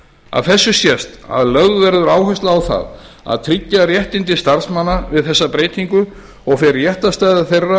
af þessu sést að lögð verður áhersla á það að tryggja réttindi starfsmanna við þessa breytingu og fer réttarstaða þeirra